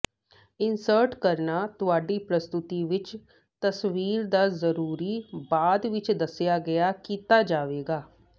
insert ਕਰਨਾ ਤੁਹਾਡੀ ਪ੍ਰਸਤੁਤੀ ਵਿੱਚ ਤਸਵੀਰ ਦਾ ਜ਼ਰੂਰੀ ਬਾਅਦ ਵਿਚ ਦੱਸਿਆ ਗਿਆ ਕੀਤਾ ਜਾਵੇਗਾ